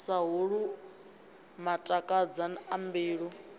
sa holwu matakadza a mbilu